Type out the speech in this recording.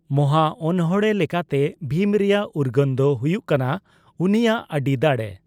ᱢᱚᱦᱟ ᱚᱱᱬᱦᱮᱸ ᱞᱮᱠᱟᱛᱮ ᱵᱷᱤᱢ ᱨᱮᱭᱟᱜ ᱩᱨᱜᱟᱹᱱ ᱫᱚ ᱦᱚᱭᱩᱜ ᱠᱟᱱᱟ ᱩᱱᱤᱭᱟ ᱟᱹᱰᱤ ᱫᱟᱲᱮ ᱾